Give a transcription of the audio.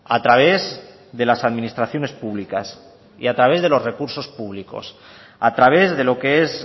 a través de las administraciones públicas y a través de los recursos públicos a través de lo que es